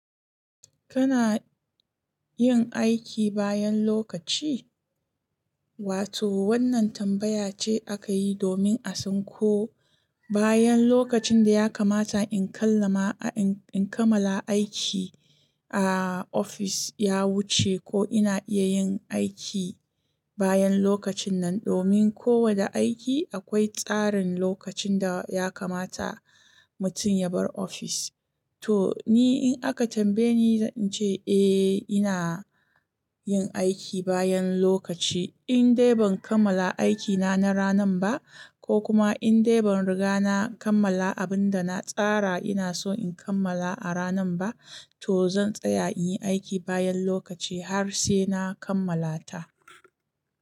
Kana yin aiki bayan lokaci? Wato wannan tambaya ce aka yi domin a san ko bayan lokacin da ya kamata in kammala aiki a ofis ya wuce, ko ina iya yin aiki bayan lokacin nan. Domin kowane aiki akwai tsarin lokacin da ya kamata mutum ya bar ofis. To ni in aka tambaye ni, zan ce eh ina yin aiki bayan lokaci. In dai ban kammala aikina na ranar ba, ko kuma in dai ban riga na kammala abin da na tsara ina so in kammala a ranar ba, to zan tsaya in yi aiki bayan lokaci har sai na kammala ta.